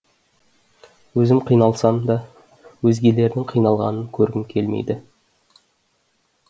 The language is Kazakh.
өзім қиналсам да өзгелердің қиналғанын көргім келмейді